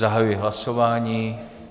Zahajuji hlasování.